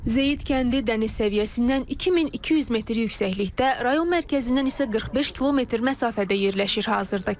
Zeyid kəndi dəniz səviyyəsindən 2200 metr yüksəklikdə, rayon mərkəzindən isə 45 km məsafədə yerləşir.